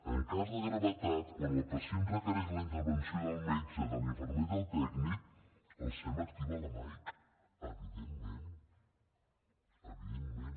en cas de gravetat quan el pacient requereix la intervenció del metge de l’infermer i del tècnic el sem activa la mike evidentment evidentment